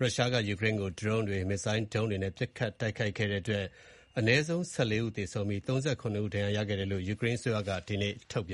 ရုရှားက ယူကရိန်းကို ဒရုန်းတွေ၊ မစ်ဇိုင်းဒုံးတွေနဲ့ ပစ်ခတ်တိုက်ခိုက်ခဲ့တဲ့အတွက် အနည်းဆုံး ၁၄ ဦးသေဆုံးပြီး ၃၇ ဦးဒဏ်ရာရရှိခဲ့တယ်လို့ ယူကရိန်းအစိုးရကဒီကနေ့ထုတ်ပြ